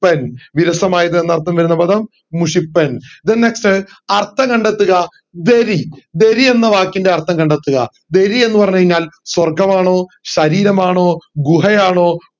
പ്പൻ വിരസമയത് എന്നർത്ഥം വരുന്ന പദം മുഷിപ്പൻ then next അർത്ഥം കണ്ടെത്തുക ദരി ദരി എന്ന വാക്കിന്റെ അർത്ഥം കണ്ടെത്തുക ദരി എന്ന് പറഞ്ഞു കൈഞ്ഞാൽ സ്വർഗമാണോ ശരീരമാണോ ഗുഹയാണോ